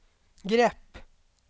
grepp